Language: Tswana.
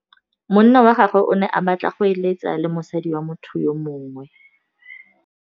Monna wa gagwe o ne a batla go êlêtsa le mosadi wa motho yo mongwe.